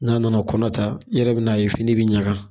N'a nana kɔnɔ ta, i yɛrɛ bɛn'a ye fini bɛ ɲaga.